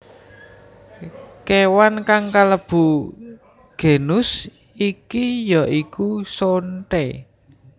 Kewan kang kalebu genus iki ya iku sonthé